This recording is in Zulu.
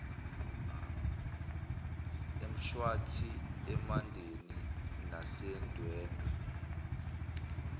emshwathi emandeni nasendwedwe